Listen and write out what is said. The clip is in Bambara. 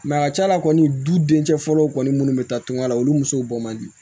a ka ca la kɔni dudencɛ fɔlɔ kɔni minnu bɛ taa tunga la olu musow bɔ man di